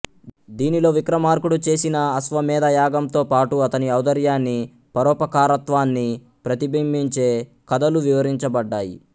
దీనిలో విక్రమార్కుడు చేసిన అశ్వమేధయాగంతో పాటు అతని ఔదార్యాన్ని పరోపకారత్వాన్ని ప్రతిబింబించే కథలు వివరించబడ్డాయి